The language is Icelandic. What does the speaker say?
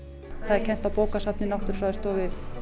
það er kennt á bókasafni náttúrufræðistofu